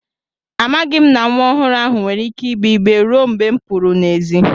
Amaghị m na nwa ọhụrụ ahụ nwere ike ịgbè igbé ruo mgbe m pụru n'èzí